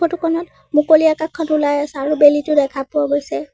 ফটোখনত মুকলি আকাশখন ওলাই আছে আৰু বেলিটো দেখা পোৱা গৈছে।